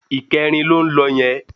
Ìkẹrin ló ń lọ yẹn